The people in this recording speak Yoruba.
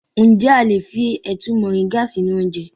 Ǹjẹ́ a lè fi ẹ̀tu moringa sínú oúnjẹ.